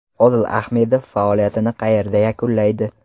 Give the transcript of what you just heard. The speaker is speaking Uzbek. Odil Ahmedov faoliyatini qayerda yakunlaydi?